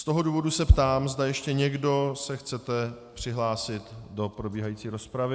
Z toho důvodu se ptám, zda ještě někdo se chcete přihlásit do probíhající rozpravy.